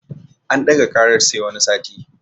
An ɗaga ƙarar sai wani sati